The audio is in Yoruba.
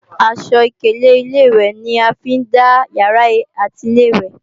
Aṣọ ìkélé Ilé-ìwẹ̀ ni a fi ń dá ìyàrá àti Ilé-ìwẹ̀